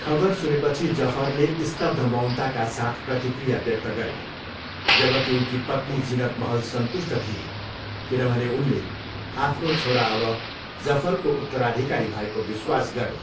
खबर सुनेपछि जफरले स्तब्ध मौनताका साथ प्रतिक्रिया व्यक्त गरे जबकि उनकी पत्नी जिनत महल सन्तुष्ट थिए किनभने उनले आफ्नो छोरा अब जफरको उत्तराधिकारी भएको विश्वास गरे।